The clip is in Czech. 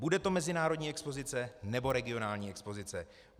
Bude to mezinárodní expozice, nebo regionální expozice?